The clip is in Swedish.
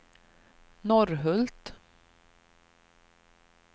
Norrhult